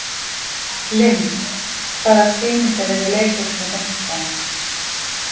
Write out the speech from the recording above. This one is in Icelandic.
Lynd, hvaða sýningar eru í leikhúsinu á fimmtudaginn?